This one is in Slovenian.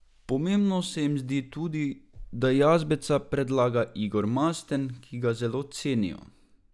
Pomembno se jim zdi tudi, da Jazbeca predlaga Igor Masten, ki ga zelo cenijo.